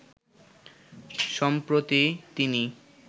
সম্প্রতি তিনি